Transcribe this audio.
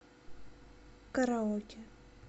караоке